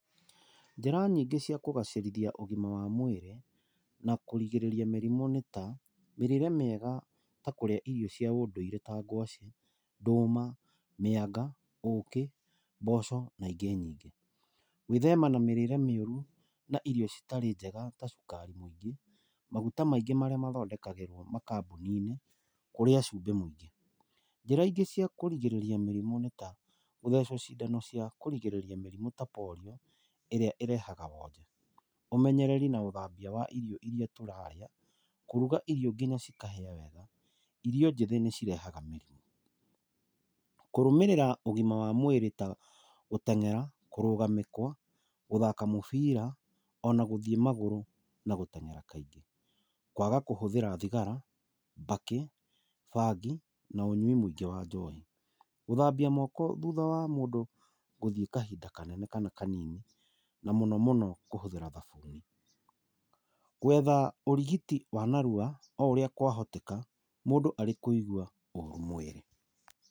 Njĩra nyingĩ cia kũgacĩrithia ũgima wa mwĩrĩ na kũrigĩrĩria mĩrimũ nĩ ta: mĩrĩĩre mĩega ta kũrĩa irio cia ũndũire ta ngwaci, ndũma, mĩanga, ũkĩ, mboco na ingĩ nyingĩ. Gwĩthema na mĩrĩĩre mĩũru na irio citarĩ njega ta cukari mũingĩ, maguta maingĩ marĩa mathondekagĩrwo kambuni-inĩ, na kũrĩa cumbĩ mũingĩ. Njĩra ingĩ cia kũrigĩrĩria mĩrimũ ta Polio ĩrĩa ĩrehaga wonje. Ũmenyereri na ũthambia wa irio irĩa tũrarĩa, kũruga irio nginya cikahĩa wega, irio njĩthĩ nĩ cirehaga mĩrimũ. Kũrũmĩrĩra ũgima wa mwĩrĩ ta gũtengera, kũrũga mĩkwa, gũthaka mĩbira ona gũthiĩ magũrũ na gũtengera kaingĩ. Kwaga kũhũthĩra thigara, mbakĩ, bangi na ũnyui mũingĩ wa njohi. Gũthambia moko thutha wa mũndũ gũthiĩ kahinda kanene kana kanini na mũno mũno kũhũthĩra thabuni. Gwetha ũrigiti wa narua o ũrĩa kwahoteka mũndũ arĩ kũigwa ũru mwĩrĩ.